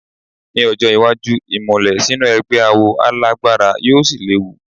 Ní ọjọ́ iwájú, ìmùlẹ̀ sínú ẹgbẹ́ awo á lágbára yóò sì léwu.